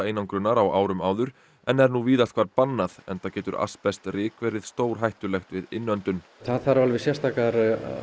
hitaeinangrunar á árum áður en er nú víðast hvar bannað enda getur verið stórhættulegt við það þarf alveg sérstakar